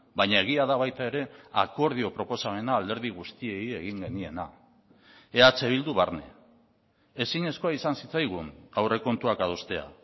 baina egia da baita ere akordio proposamena alderdi guztiei egin geniena eh bildu barne ezinezkoa izan zitzaigun aurrekontuak adostea